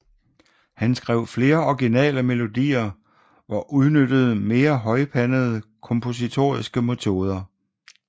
Han skrev flere originale melodier og udnyttede mere højpandede kompositoriske metoder